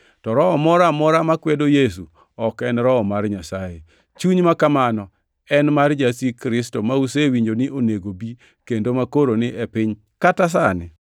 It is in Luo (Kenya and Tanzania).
to roho moro amora makwedo Yesu ok en Roho mar Nyasaye. Chuny ma kamano en mar Jasik Kristo ma usewinjo ni onego bi kendo makoro ni e piny kata sani.